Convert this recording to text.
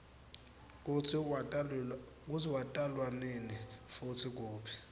kutsi watalwanini futsi kuphi